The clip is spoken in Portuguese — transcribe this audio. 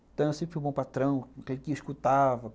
Então eu sempre fui um bom patrão, aquele que escutava.